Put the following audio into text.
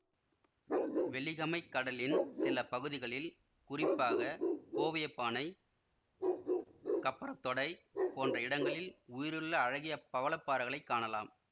வெலிகமைக் கடலின் சில பகுதிகளில் குறிப்பாக கோவியப்பானை கப்பரத்தொடை போன்ற இடங்களில் உயிருள்ள அழகிய பவள பாறைகளை காணலாம்